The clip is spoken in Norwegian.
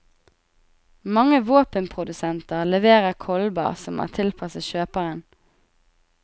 Mange våpenprodusenter leverer kolber som er tilpasset kjøperen.